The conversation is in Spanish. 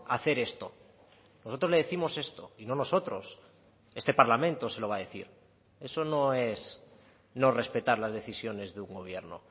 hacer esto nosotros le décimos esto y no nosotros este parlamento se lo va a decir eso no es no respetar las decisiones de un gobierno